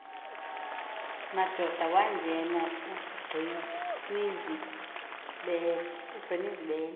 madoda wangena ugcinizibele